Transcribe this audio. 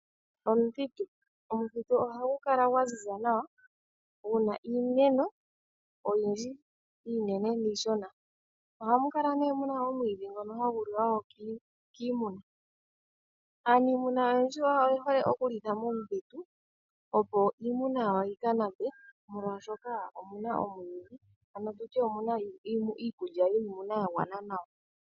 Omuthitu Omuthitu ohagu kala gwa ziza nawa gu na iimeno oyindji iinene niishona. Ohamu kala wo mu na omwiidhi ngono hagu liwa kiimuna. Aaniimuna oyendji oye hole okulitha momuthitu, opo iimuna yawo yi ka nape, molwashoka omu na omwiidhi, ano mu na iikulya yiimu na ya gwana nawa.